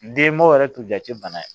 N denbaw yɛrɛ t'u jate bana ye